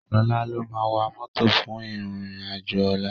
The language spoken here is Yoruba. Sola ló má wá mòtó fún iron ájó òlá